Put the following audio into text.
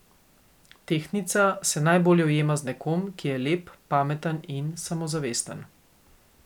Tehtnica se najbolje ujema z nekom, ki je lep, pameten in samozavesten.